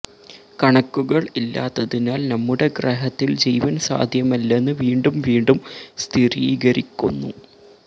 കണക്കുകൾ ഇല്ലാത്തതിനാൽ നമ്മുടെ ഗ്രഹത്തിൽ ജീവൻ സാധ്യമല്ലെന്ന് വീണ്ടും വീണ്ടും സ്ഥിരീകരിക്കുന്നു